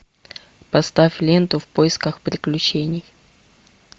поставь ленту в поисках приключений